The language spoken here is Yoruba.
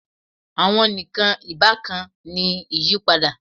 Awọn nikan ibakan ni iyipada